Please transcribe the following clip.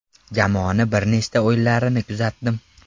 Jamoani bir nechta o‘yinlarini kuzatdim.